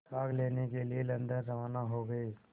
भाग लेने के लिए लंदन रवाना हो गए